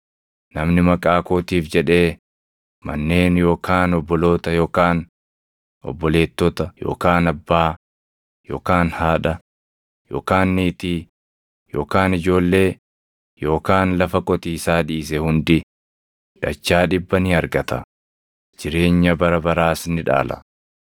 Namni maqaa kootiif jedhee manneen yookaan obboloota yookaan obboleettota yookaan abbaa yookaan haadha yookaan niitii yookaan ijoollee yookaan lafa qotiisaa dhiise hundi dachaa dhibba ni argata; jireenya bara baraas ni dhaala.